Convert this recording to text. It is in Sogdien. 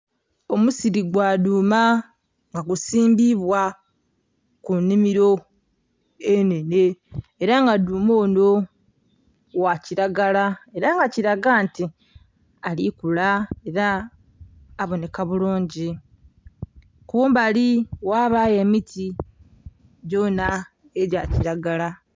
Omusiili gwa dhuuma nga gusimbibwa ku nhimiro enhenhe era nga dhuuma onho gha kilagala era nga kilaga nti ali kula era abonheka bulungi, kumbali ghabayo emiti gyonha egya kilagala.